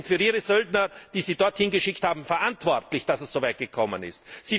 Sie sind für ihre Söldner, die sie dorthin geschickt haben, verantwortlich, dass es so weit gekommen ist.